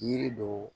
Yiri dɔw